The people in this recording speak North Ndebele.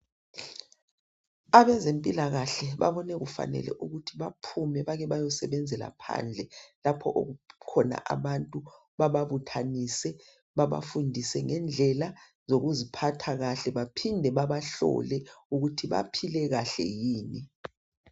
Abezempilakahle babone kufanele ukuthi baphume bake bayosebenzela phandle lapho okukhona abantu bababuthanise babafundise ngendlela yokuziphatha kahle baphinde babahlole ukuthi baphile kahle yini.